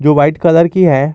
जो white colour की है।